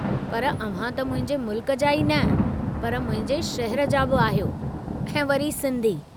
पर अव्हां त मुंहिंजे मुल्क जा ई न पर मुंहिंजे शहर जा बि आहियो ऐं वरी सिन्धी।